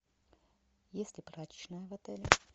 есть ли прачечная в отеле